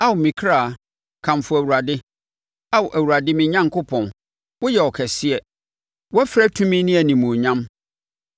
Ao me ɔkra, kamfo Awurade! Ao Awurade me Onyankopɔn, woyɛ ɔkɛseɛ! Wɔafira tumi ne animuonyam.